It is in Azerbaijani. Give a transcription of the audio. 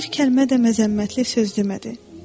Bir kəlmə də məzəmmətli söz demədi.